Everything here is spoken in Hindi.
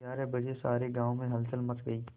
ग्यारह बजे सारे गाँव में हलचल मच गई